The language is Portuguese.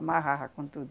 Amarrava com tudo.